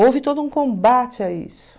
Houve todo um combate a isso.